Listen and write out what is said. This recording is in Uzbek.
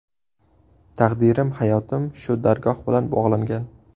Taqdirim, hayotim shu dargoh bilan bog‘langan.